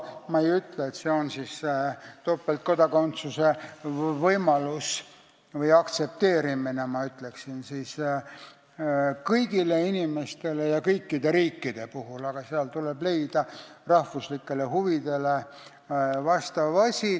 Ma ei ütle, et see tähendab topeltkodakondsuse võimalust või aktsepteerimist kõigile inimestele ja kõikide riikide puhul, tuleb leida rahvuslikele huvidele vastav asi.